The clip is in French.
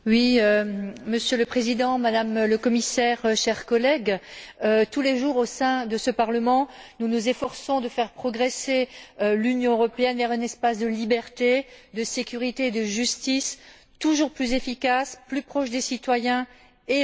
Monsieur le Président, Madame le Commissaire, chers collègues, tous les jours au sein de ce Parlement, nous nous efforçons de faire progresser l'Union européenne vers un espace de liberté, de sécurité et de justice, toujours plus efficace, plus proche des citoyens européens et à leur service.